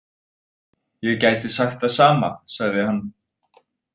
Ég gæti sagt það sama, sagði hann.